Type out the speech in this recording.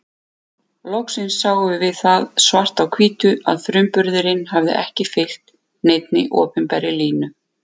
Loksins sáum við það svart á hvítu að frumburðurinn hafði ekki fylgt neinni opinberri línu.